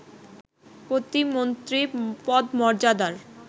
প্রতিমন্ত্রী পদমর্যাদার